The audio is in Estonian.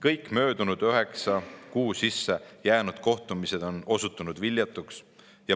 Kõik möödunud üheksa kuu sisse jäänud kohtumised on osutunud viljatuks.